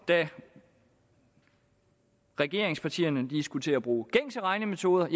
da regeringspartierne skulle til at bruge gængse regnemetoder